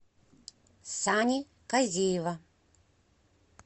сани казиева